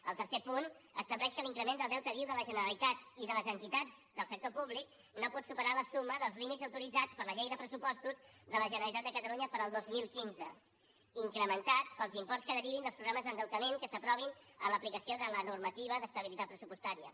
el tercer punt estableix que l’increment del deute viu de la generalitat i de les entitats del sector públic no pot superar la suma dels límits autoritzats per la llei de pressupostos de la generalitat de catalunya per al dos mil quinze incrementat pels imports que derivin dels programes d’endeutament que s’aprovin en l’aplicació de la normativa d’estabilitat pressupostària